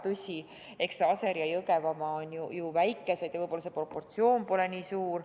Tõsi, Aseri ja Jõgevamaa on ju väikesed ja võib-olla see proportsioon pole nii suur.